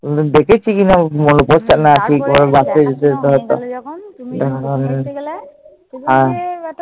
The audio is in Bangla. দেখেছি কিনা মনে পরছেনা।